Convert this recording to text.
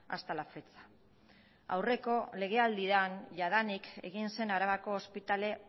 hasta la fecha aurreko legealdian jadanik egin zen arabako ospitale